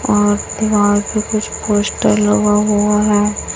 और दीवार पे कुछ पोस्टर लगा हुआ है।